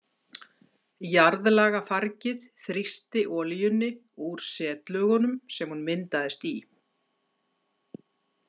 Jarðlagafargið þrýsti olíunni úr setlögunum sem hún myndaðist í.